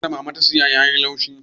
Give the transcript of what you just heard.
Gwanda da mama ta saya ya yi laushi